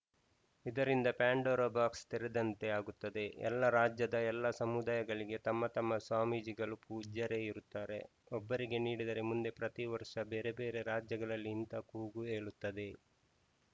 ಇದರಿಂದ Pandora box ತೆರೆದಂತೆ ಆಗುತ್ತದೆ ಎಲ್ಲ ರಾಜ್ಯದ ಎಲ್ಲ ಸಮುದಾಯಗಳಿಗೆ ತಮ್ಮ ತಮ್ಮ ಸ್ವಾಮೀಜಿಗಳು ಪೂಜ್ಯರೇ ಇರುತ್ತಾರೆ ಒಬ್ಬರಿಗೆ ನೀಡಿದರೆ ಮುಂದೆ ಪ್ರತಿ ವರ್ಷ ಬೇರೆ ಬೇರೆ ರಾಜ್ಯಗಳಲ್ಲಿ ಇಂತ ಕೂಗು ಏಳುತ್ತದೆ